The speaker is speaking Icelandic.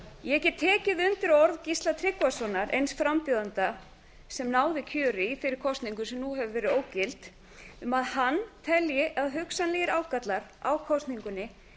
ég get tekið undir orð gísla tryggvasonar eins frambjóðanda sem náði kjöri í þeirri kosningu sem nú hefur verið ógild um að hann telji að hugsanlegir ágallar á kosningunni